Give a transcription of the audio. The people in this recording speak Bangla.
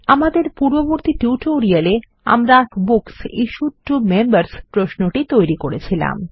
আমাদের পূর্ববর্তী টিউটোরিয়ালে আমরা বুকস ইশ্যুড টো মেম্বার্স প্রশ্নটি তৈরী করেছিলাম